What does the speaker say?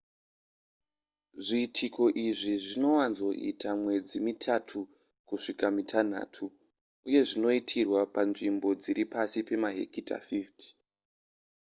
zviitiko izvi zvinowanzoita mwedzi mitatu kusvika kumitanhatu uye zvinoitirwa panzvimbo dzisiri pasi pemahekita 50